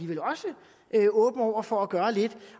der også åben over for at gøre lidt